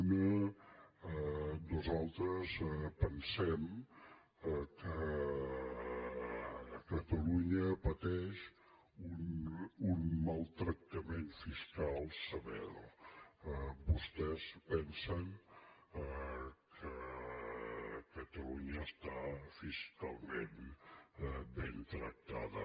una nosaltres pensem que catalunya pateix un maltractament fiscal sever vostès pensen que catalunya està fiscalment ben tractada